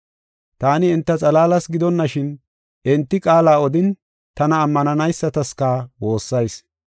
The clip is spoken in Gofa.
“Taani enta xalaalas gidonashin enti qaala odin, tana ammananaysataska woossayis.